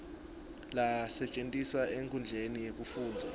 lasetjentiswa enkhundleni yekufundza